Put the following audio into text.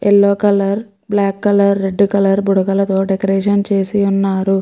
Yellow colour black colour red colour బుడగలతో decoration చేసి ఉన్నారు.